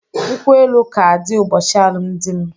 Nkwụ-elụ ka adi ụbochi alụm di m